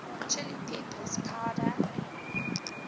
chili peppers powder